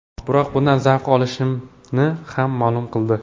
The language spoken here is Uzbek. Biroq bundan zavq olishini ham ma’lum qildi.